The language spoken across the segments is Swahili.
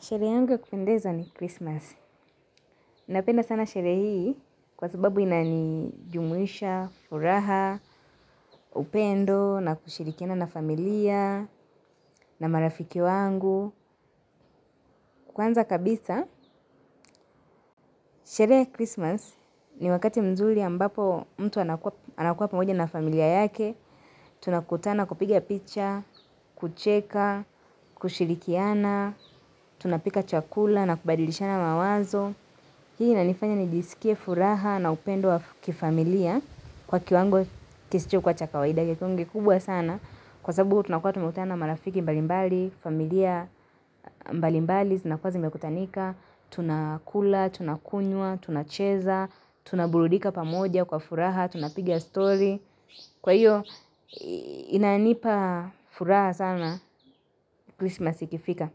Sherehe yangu ya kupendeza ni Christmas. Napenda sana sherehe hii kwa sababu inanijumuisha, furaha, upendo, na kushirikiana na familia, na marafiki wangu. Kwanza kabisa, sherehe Christmas ni wakati mzuri ambapo mtu anakuwa pamoja na familia yake. Tunakutana kupiga picha, kucheka, kushirikiana, tunapika chakula na kubadilishana mawazo. Hii inanifanya nijisikie furaha na upendo wa kifamilia kwa kiwango kisichokuwa cha kawaida ingekuwa kubwa sana. Kwa sababu tunakua tumekutana marafiki mbalimbali, familia mbalimbali, zinakuwa zimekutanika, tunakula, tunakunywa, tunacheza, tunaburudika pamoja kwa furaha, tunapiga story. Kwa hiyo inanipa furaha sana Christmas ikifika.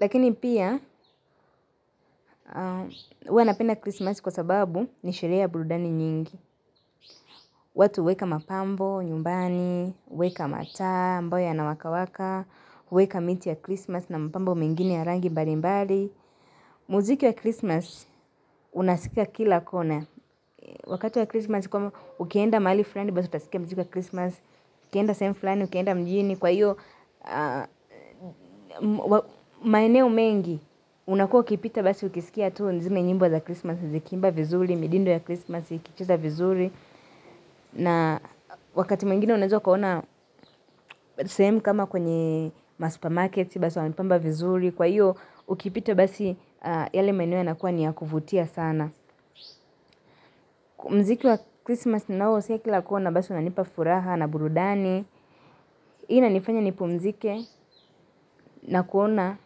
Lakini pia, huwa napenda Christmas kwa sababu ni sherehe ya burudani nyingi. Watu huweka mapambo, nyumbani, huweka mataa amboyo yanawaka waka huweka miti ya Christmas na mapambo mengine ya rangi mbalimbali. Muziki wa Christmas, unasikia kila kona. Wakati wa Christmas, ukienda mahali fulani basi utasikia muziki wa Christmas. Ukienda sehemu fulani, ukienda mjini kwa iyo, maeneo mengi unakua ukipita basi ukisikia tu ni zile nyimbo za Christmas. Nzikiimba vizuri, midindo ya Christmas, ikicheza vizuri na wakati mwengine unaweza kuona sehemu kama kwenye ma supermarkets basi wamepamba vizuri. Kwa hiyo ukipita basi yale maeneo yanakuwa ni ya kuvutia sana. Mziki wa Christmas ninaosikia kila kona basi unanipa furaha na burudani hii inanifanya nipumzike na kuona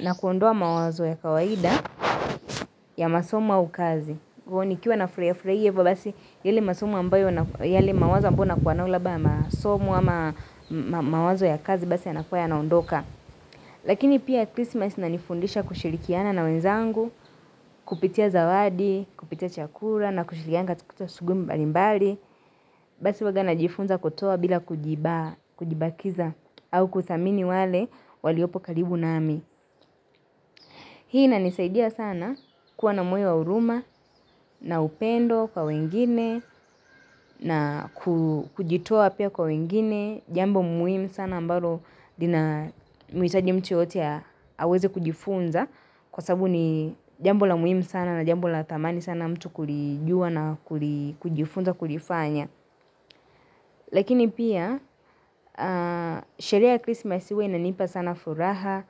na kuondoa mawazo ya kawaida ya masomo au kazi hivo. Nikiwa nafurahia furahia ivo basi yale masomo ambayo yale mawazo ambao nakuwa nao labda masomo ama mawazo ya kazi basi yanakua yanaondoka. Lakini pia Christmas inanifundisha kushirikiana na wenzangu, kupitia zawadi, kupitia chakula na kushirikiana katika shughui mbalimbali. Basi huwaga najifunza kutoa bila kujibakiza au kuthamini wale waliopo karibu nami. Hii inanisaidia sana kuwa na moyo wa huruma na upendo kwa wengine na kujitoa pia kwa wengine, jambo muhimu sana ambalo lina muhitaji mtu yoyote aweze kujifunza kwa sababu ni jambo la muhimu sana na jambo la thamani sana mtu kulijua na kujifunza kulifanya. Lakini pia, sherehe ya christmas huwa inanipa sana furaha,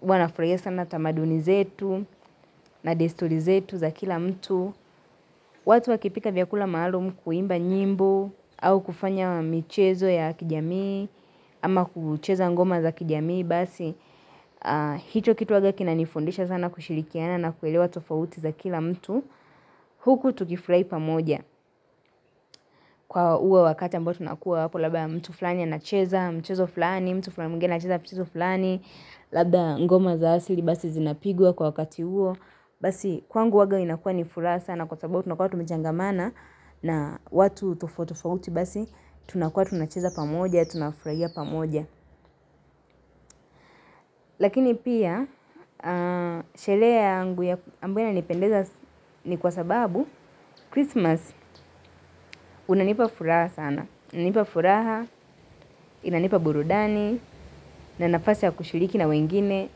huwa nafurahia sana tamaduni zetu na desturi zetu za kila mtu. Watu wakipika vyakula maalumu kuimba nyimbo au kufanya michezo ya kijamii ama kucheza ngoma za kijamii basi. Hicho kitu huwaga kinanifundisha sana kushirikiana na kuelewa tofauti za kila mtu. Huku tukifurahi pamoja kwa huo wakati ambayo tunakua hapo labda mtu fulani anacheza mchezo fulani mtu alafu kuna mtu anacheza mchezo fulani. Labda ngoma za asili basi zinapigwa kwa wakati huo. Basi kwangu huwaga inakuwa ni furaha sana. Kwa sababu tunakua tumechangamana na watu tofauti tofauti basi tunakuwa tunacheza pamoja. Tunafurahia pamoja. Lakini pia sherehe yangu ambayo inanipendeza ni kwa sababu Christmas unanipa furaha sana. Inanipa furaha, inanipa burudani, na nafasi ya kushiriki na wengine,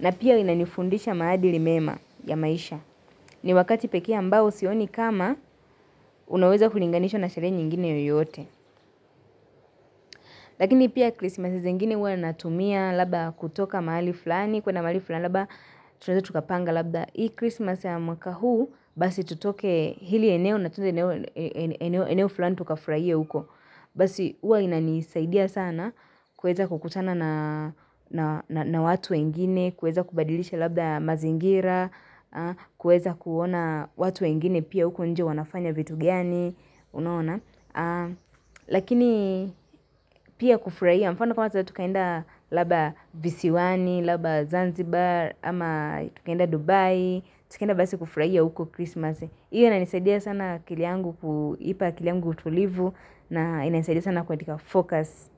na pia inanifundisha maadili mema ya maisha. Ni wakati pekee ambao sioni kama unaweza kulinganishwa na sherehe nyingine yoyote. Lakini pia krisimasi zingine huwa natumia labda kutoka mahali fulani, kuenda mahali fulani labda tunaeza tukapanga labda. Hii krisimasi ya mwaka huu basi tutoke hili eneo na tuende eneo fulani tukafurahie uko. Basi huwa inanisaidia sana kuweza kukutana na watu wengine, kuweza kubadilisha labda mazingira, kuweza kuona watu wengine pia huko nje wanafanya vitu gani, unaona. Lakini pia kufurahia, mfano kama sahii tukaenda labda visiwani, labda zanzibar, ama tukaenda Dubai, tukaenda basi kufurahia huko Christmas. Hiyo inanisaidia sana akili yangu kuipa akili yangu utulivu. Na inanisaidia sana katika focus.